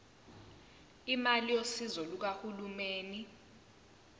imali yosizo lukahulumeni